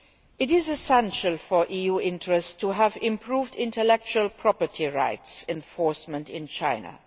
It is essential for EU interests to have improved intellectual property rights enforcement in China.